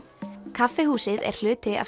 kaffihúsið er hluti af